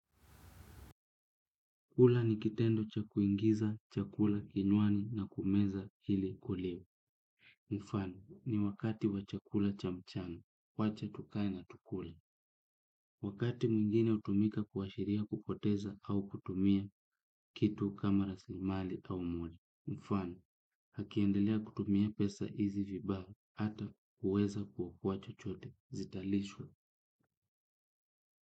Kula ni kitendo cha kuingiza, chakula kinywani na kumeza ili uliwe. Mfano, ni wakati wa chakula cha mchana, wacha tukae na tukule. Wakati mwingine hutumika kuashiria kupoteza au kutumia kitu kama rasilimali au mlo. Mfano, akiendelea kutumia pesa hizi vibaya, hataweza kukuwa chochote. Zitalishwa.